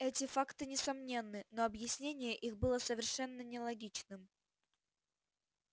эти факты несомненны но объяснение их было совершенно нелогичным